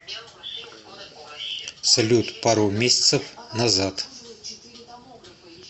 салют пару месяцев назад